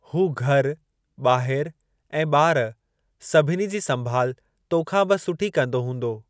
हू़ घरु ॿाहिरि ऐं ॿार सभिनी जी संभाल तोखां बि सुठी कंदो हूंदो।